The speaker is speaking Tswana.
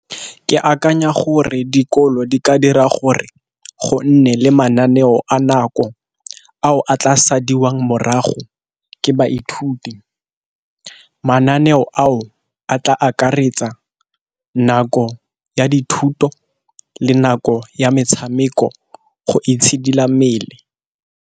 Ke akanya gore dikolo di ka dira gore gonne le mananeo a nako ao a tla sadiwang morago ke baithuti, mananeo ao a tla akaretsa nako ya dithuto le nako ya metshameko go itshidila mmele.